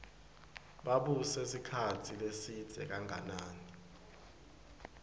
babuse sikhatsi lesidze kanganani